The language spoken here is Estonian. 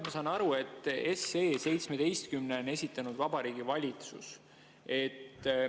Ma saan aru, et seaduseelnõu 17 on esitanud Vabariigi Valitsus.